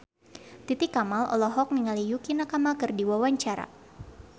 Titi Kamal olohok ningali Yukie Nakama keur diwawancara